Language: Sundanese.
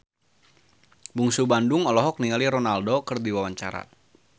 Bungsu Bandung olohok ningali Ronaldo keur diwawancara